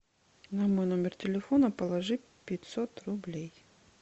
на мой номер телефона положить пятьсот рублей